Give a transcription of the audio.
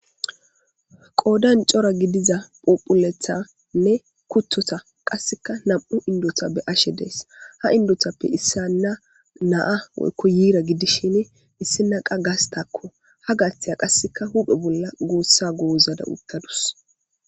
Qoodan cora gidiza phuphulethanne kuttota qasseka nam'u indota be ashe dees ha indotappe issanna naa woykko yiira gidishin issi naqa gastakko ha gaattiya qasseka huphe bolla goossa goozada uttadus.